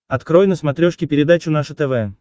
открой на смотрешке передачу наше тв